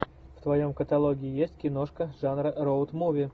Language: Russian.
в твоем каталоге есть киношка жанра роуд муви